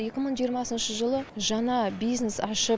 екі мың жиырмасыншы жылы жаңа бизнес ашып